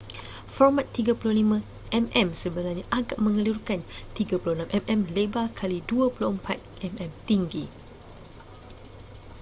format 35mm sebenarnya agak mengelirukan 36mm lebar kali 24mm tinggi